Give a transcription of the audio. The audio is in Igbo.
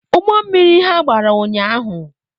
Ụgbọ mmiri ha gbara ụnyahụ